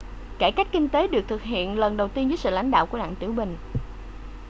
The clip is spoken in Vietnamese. cải cách kinh tế được thực hiện lần đầu tiên dưới sự lãnh đạo của đặng tiểu bình